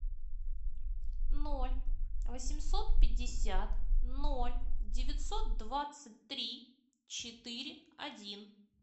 ноль восемьсот пятьдесят ноль девятьсот двадцать три четыре один